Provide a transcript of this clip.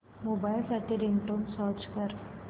mobile साठी ringtone search कर